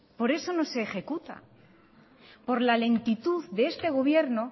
por eso no se ejecuta por la lentitud de este gobierno